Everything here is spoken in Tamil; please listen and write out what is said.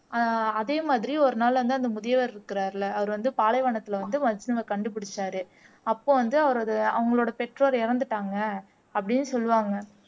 ஆஹ் அதே மாதிரி ஒரு நாள் அந்த அந்த முதியவர் இருக்கிறாருல்ல அவரு வந்து பாலைவனத்துல வந்து மஜ்னுவை கண்டுபிடிச்சாரு அப்போ வந்து அவரது அவங்களோட பெற்றோர் இறந்துட்டாங்க அப்படின்னு சொல்லுவாங்க